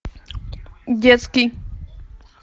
детский